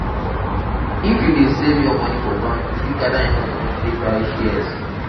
if you dey save your moni for bank you fit gada enough moni take buy shares.